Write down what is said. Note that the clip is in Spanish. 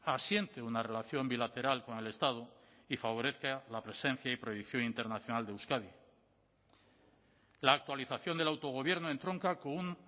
asiente una relación bilateral con el estado y favorezca la presencia y proyección internacional de euskadi la actualización del autogobierno entronca con un